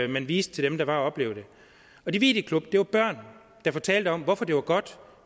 man viste til dem der var at opleve det og de videoklip viste børn der fortalte om hvorfor det var godt